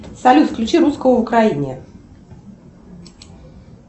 салют включи русского в украине